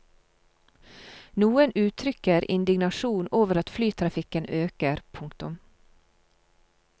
Noen uttrykker indignasjon over at flytrafikken øker. punktum